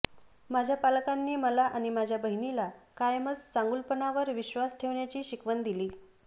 माझ्या पालकांनी मला आणि माझ्या बहिणीला कायमच चांगुलपणावर विश्वास ठेवण्याची शिकवण दिली